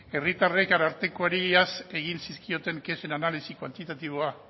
herritarrek arartekoari egin zizkioten kexen analisi kuantitatiboa